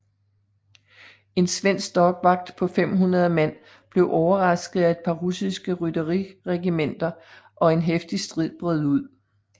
En svensk dagvakt på 500 mand blev overrasket af et par russiske rytteriregementer og en heftig stid brød ud